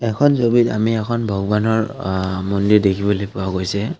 এখন ছবিত আমি এখন ভগবানৰ অ মন্দিৰ দেখিবলৈ পোৱা গৈছে।